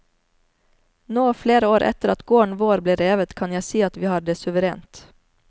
Nå, flere år etter at gården vår ble revet, kan jeg si at vi har det suverent.